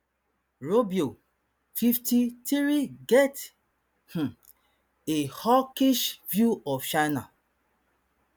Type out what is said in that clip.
rubio fifty-three get um a hawkish view of china